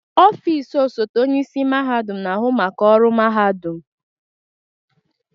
Ọfịs ọsote onye isi mahadum na-ahụ maka ọrụ mahadum.